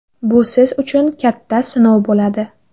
Bu siz uchun katta sinov bo‘ladi!